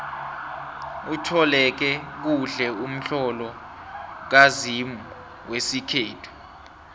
utloleke kuhle umtlolo kazimu wesikhethu